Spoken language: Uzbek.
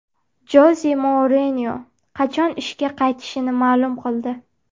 Joze Mourinyo qachon ishga qaytishini ma’lum qildi.